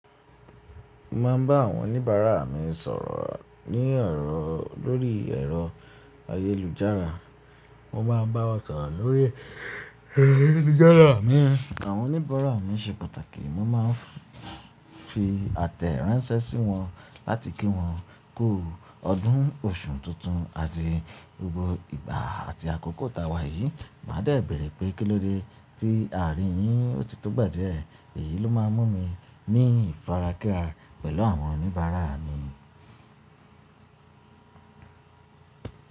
Mo ma ń bá àwọn oníbàárà mi sọ̀rọ̀ ní ọ̀rọ̀ lórí ẹ̀rọ ayélujára. Mo máa ń bá wọn sọ̀rọ̀ lórí ayélujára mi. Àwọn oníbàárà mi ṣe pàtàkì. Mo máa ń fi àtẹ̀ránṣẹ́ sí wọn láti kí wọn kú ọdún, oṣù tuntun àti gbogbo ìgbà àti àkókò ta wà yìí. Màá dè bèrè pé kílóde tí a rì yín òtì tó gba di ẹ́. Èyí ló máa ń mú mi ní ifarákíra pẹ̀lú àwọn oníbàárà mi.